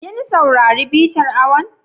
Kin saurari bitar awon?